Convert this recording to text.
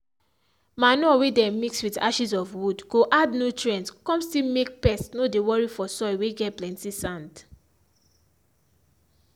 manure whey dem mix with ashes of wood go add nutrients come still make pests no dey worry for soil whey get plenty sand.